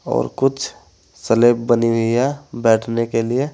और कुछ स्लैब बनी हुई है बैठने के लिए।